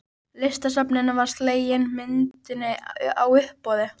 Listasafninu var slegin myndin á uppboði.